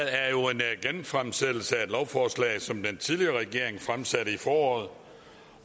er jo en genfremsættelse af et lovforslag som den tidligere regering fremsatte i foråret